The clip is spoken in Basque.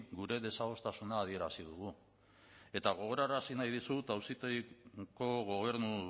gure desadostasuna adierazi dugu eta gogorarazi nahi dizut auzitegiko gobernu